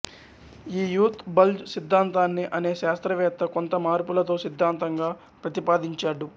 ఈ youth bulge సిద్ధాంతాన్ని అనే శాస్త్రవేత్త కొంత మార్పులతో సిద్ధాంతంగా ప్రతిపాదించాడు